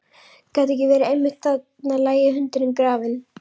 Gat ekki verið að einmitt þarna lægi hundurinn grafinn?